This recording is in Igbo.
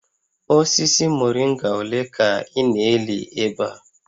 Osisi moringa ole ka ị na-eli ebe a?